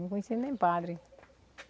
Não conhecia nem padre.